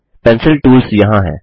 pencil tools यहाँ हैं